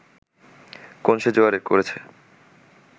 কোন সে জোয়ার করেছে